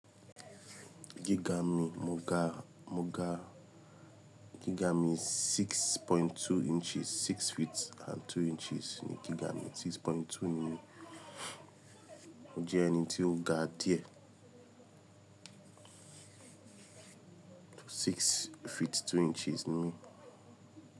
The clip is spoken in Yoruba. Giga mi, mo ga, mo ga giga mi six point two inches, six feet and two inches ni giga mi. Six point two ni ó jẹ ẹni tí ó ga díẹ̀. Six feet two inches ni mi.